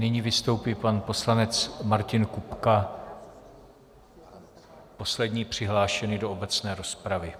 Nyní vystoupí pan poslanec Martin Kupka, poslední přihlášený do obecné rozpravy.